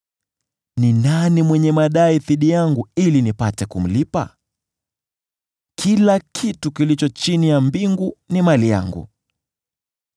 Ni nani mwenye madai dhidi yangu ili nipate kumlipa? Kila kitu kilicho chini ya mbingu ni mali yangu.